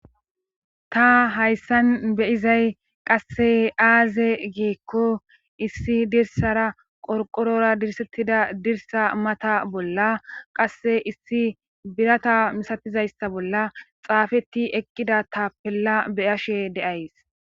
Ta hayssan beyizay qasse aaze geekko issi dirsara qorqorora dirsettida dirsa mata bolla qasse issi birata misatizayssa bolla xaafeti eqqida ta pella beyashe deays